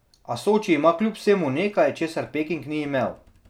A Soči ima kljub vsemu nekaj, česar Peking ni imel.